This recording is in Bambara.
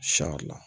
la